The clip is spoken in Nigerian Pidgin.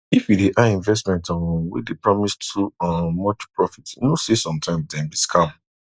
if you dey eye investment um wey dey promise too um much profit know say sometimes dem be scam